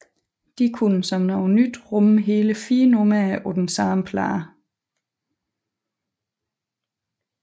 De kunne som noget nyt rumme hele fire numre på samme plade